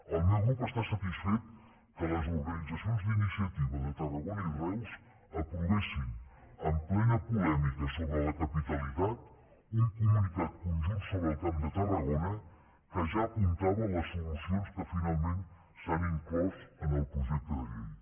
el meu grup està satisfet que les organitzacions d’iniciativa de tarragona i reus aprovessin en plena polèmica sobre la capitalitat un comunicat conjunt sobre el camp de tarragona que ja apuntava les solucions que finalment s’han inclòs en el projecte de llei